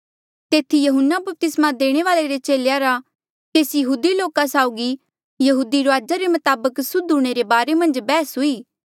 तेथी यहून्ना बपतिस्मा देणे वाल्ऐ रे चेलेया रा केसी यहूदी लोका साऊगी यहूदी रूआजा रे मताबक सुद्ध हूंणे रे बारे मन्झ बैहस हुई